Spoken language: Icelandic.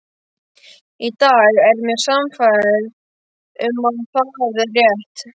Í dag er ég sannfærð um að það er rétt.